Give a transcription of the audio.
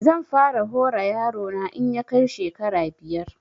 Zan fara hora yaro na in ya kai shekara biyar